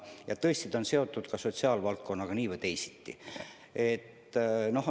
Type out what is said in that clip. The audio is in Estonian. Ja tõesti, eelnõu on seotud ka sotsiaalvaldkonnaga nii või teisiti.